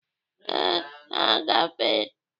Ee, ha gafere.